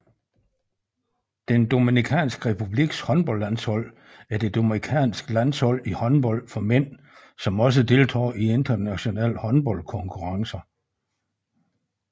Dominikanske Republiks håndboldlandshold er det dominikanske landshold i håndbold for mænd som også deltager i internationale håndboldkonkurrencer